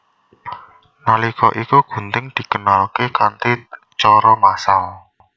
Nalika iku gunting dikenalké kanthi cara massal